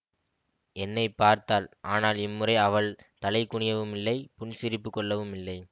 என்னை பார்த்தாள் ஆனால் இம்முறை அவள் தலைகுனியவுமில்லை புன்சிரிப்புக் கொள்ளவுமில்லை